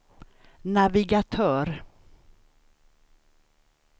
navigatör